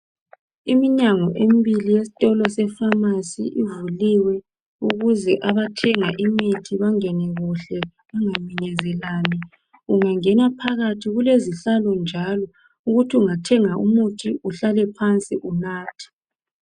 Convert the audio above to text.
Iminyango embili yestolo sepharmacy ivuliwe ukuze abathenga imithi bangene kuhle bangaminyezelani. Ungangena phakathi kulezihlalo njalo ukuthi ungathenga umuthi uhlale phansi unathe.